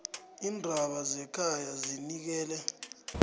iindaba zekhaya zinikele